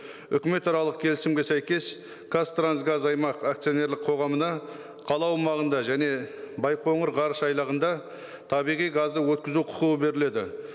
үкіметаралық келісімге сәйкес қазтрансгаз аймақ акционерлік қоғамына қала аумағында және байқоңыр ғарышайлағында табиғи газды өткізу құқығы беріледі